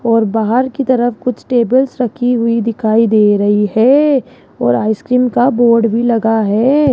और बाहर की तरफ कुछ टेबल्स रखी हुई दिखाई दे रही है और आइसक्रीम का बोर्ड भी लगा है।